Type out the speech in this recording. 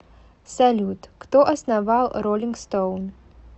салют кто основал ролинг стоун